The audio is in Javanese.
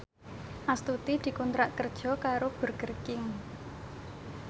Astuti dikontrak kerja karo Burger King